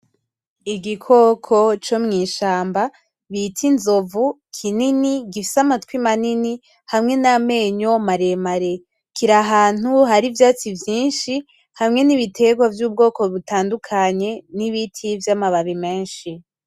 Igikoko co mwishamba bita inzovu kinini gifise amatwi manini hamwe namenyo maremare kirahantu hari ivyatsi vyinshi hamwe nibiterwa vyubwoko butandukanye, nibiti vyamababi menshi .